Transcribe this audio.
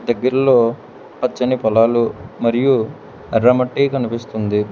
దగ్గరలో పచ్చని పొలాలు మరియు ఎర్ర మట్టి కనిపిస్తుంది.